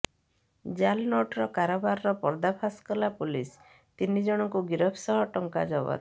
ଜାଲ୍ନୋଟ୍ କାରବାରର ପର୍ଦ୍ଦାଫାଶ କଲା ପୋଲିସ ତିନି ଜଣଙ୍କୁ ଗିରଫ ସହ ଟଙ୍କା ଜବତ